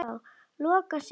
Lokar síðan aftur.